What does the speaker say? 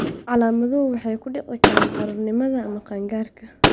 Calaamaduhu waxay ku dhici karaan carruurnimada ama qaan-gaarka.